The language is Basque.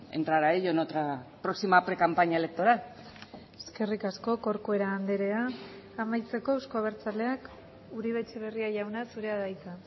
entrar a ello en otra próxima precampaña electoral eskerrik asko corcuera andrea amaitzeko euzko abertzaleak uribe etxebarria jauna zurea da hitza